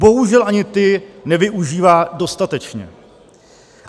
Bohužel ani ty nevyužívá dostatečně.